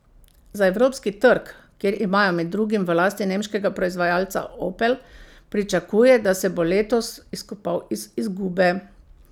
Za evropski trg, kjer imajo med drugim v lasti nemškega proizvajalca Opel, pričakuje, da se bo letos izkopal iz izgube.